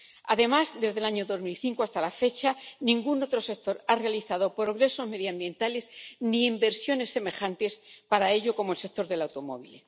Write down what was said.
Además, desde el año 2005 hasta la fecha, ningún otro sector ha realizado progresos medioambientales ni inversiones semejantes para ello como el sector del automóvil.